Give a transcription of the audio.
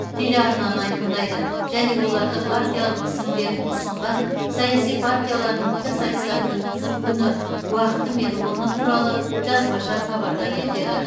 телеарнаны айқындайды және оларды партиялық тізімдерін ұсынған саяси партиялардың пікірсайыстарын өткізу күні уақыты мен орны туралы жазбаша хабардар етеді